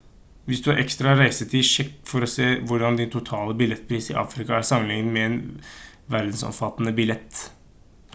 hvis du har ekstra reisetid sjekk for å se hvordan din totale billettpris til afrika er sammenlignet med en verdensomfattende billett